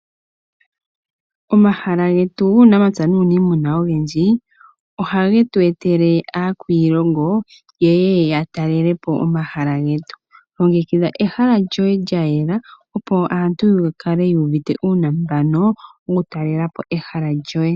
Omahala getu ogendji guunamapya nuuniimuna ohage tu etele aakwiilongo yeye yatalele po omahala getu. Longekidha ehala lyoye lyayela opo aantu yakale yuuvite uunambano okutalela po ehala lyoye.